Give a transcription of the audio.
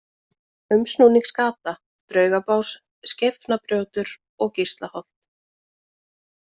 Umsnúningsgata, Draugabás, Skeifnabrjótur, Gíslaholt